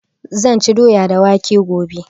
Zan ci doya da waƙe gobe